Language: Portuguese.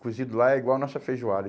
Cozido lá é igual a nossa feijoada.